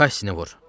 Kaşşini vur.